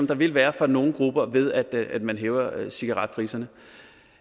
der vil være for nogle grupper ved at man hæver cigaretpriserne